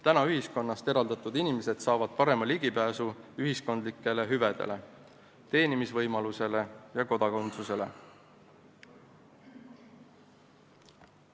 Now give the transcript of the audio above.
Täna ühiskonnast eraldatud inimesed saavad parema ligipääsu ühiskondlikele hüvedele, teenimisvõimalusele ja kodakondsusele.